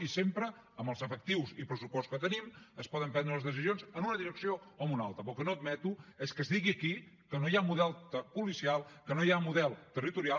i sempre amb els efectius i pressupost que tenim es poden prendre les decisions en una direcció o en una altra però el que no admeto és que es digui aquí que no hi ha model policial que no hi ha model territorial